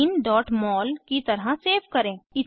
etheneमोल की तरह सेव करें